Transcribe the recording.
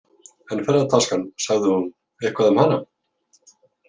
En ferðataskan, sagði hún eitthvað um hana?